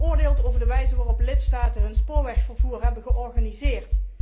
Zij oordeelt over de wijze waarop de lidstaten hun spoorwegvervoer hebben georganiseerd.